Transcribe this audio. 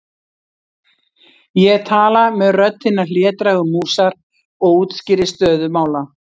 Ég tala með rödd hinnar hlédrægu músar og útskýri stöðu mála.